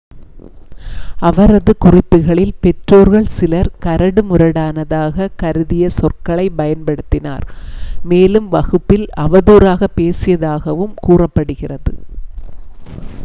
அவரது குறிப்புகளில் பெற்றோர்கள் சிலர் கரடுமுரடானதாகக் கருதிய சொற்களைப் பயன்படுத்தினார் மேலும் வகுப்பில் அவதூறாக பேசியதாகவும் கூறப்படுகிறது